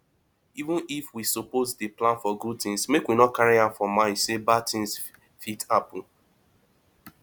even if we suppose dey plan for good things make we carry am for mind sey bad thing fit happen